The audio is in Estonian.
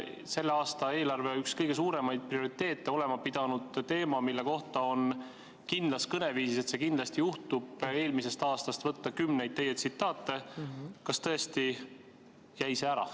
Kas selle aasta eelarve üks kõige suuremaid prioriteete olema pidanud teema, mille kohta on kindlas kõneviisis, et see kindlasti juhtub, eelmisest aastast võtta kümneid teie tsitaate, jäi tõesti ära?